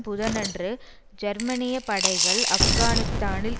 புதனன்று ஜெர்மனிய படைகள் ஆப்கானிஸ்தானில்